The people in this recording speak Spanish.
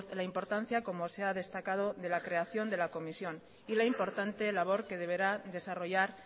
la importancia como se ha destacado de la creación de la comisión y la importante labor que deberá desarrollar